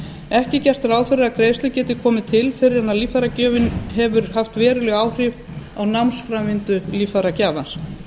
ekki er gert ráð fyrir að greiðsla geti komið til fyrr en að líffæragjöfin hefur haft veruleg áhrif á námsframvindu líffæragjafans